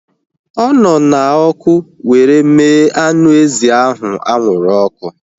Ọ nọ na ọkụ were mee anụ ezi ahụ anwụrụ ọkụ